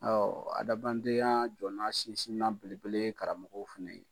Awɔ adamadenya jɔna sinsinnan belebele ye karamɔgɔ fɛ yen.